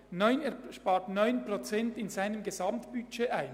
Er spart 9 Prozent seines Gesamtbudgets ein.